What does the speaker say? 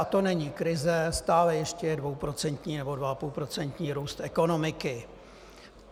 A to není krize, stále ještě je dvouprocentní nebo dvaapůlprocentní růst ekonomiky.